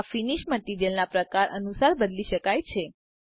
આ ફીનીશ મટીરીઅલના પ્રકાર અનુસાર બદલી શકાય છે